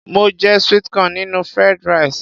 Mo je sweet corn nínú Fried rice.